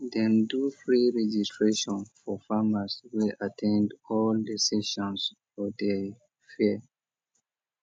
dem do free registration for farmers wey at ten d all the sessions for the fair